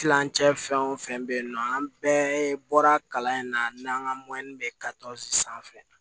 Kilancɛ fɛn o fɛn bɛ yen nɔ an bɛɛ bɔra kalan in na n'an ka bɛ sanfɛ